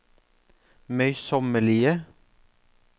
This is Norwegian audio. møysommelige